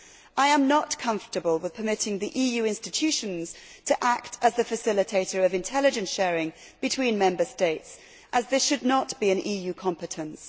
I am not comfortable with permitting the EU institutions to act as the facilitator of intelligence sharing between Member States as this should not be an EU competence.